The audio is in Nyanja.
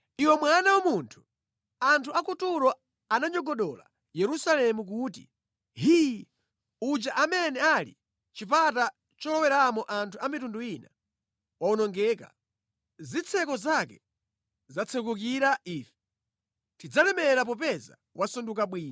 “Iwe mwana wa munthu, anthu a ku Turo ananyogodola Yerusalemu kuti ‘Hii! Uja amene anali chipata choloweramo anthu a mitundu ina wawonongeka. Zitseko zake zatsekukira ife. Tidzalemera popeza wasanduka bwinja.’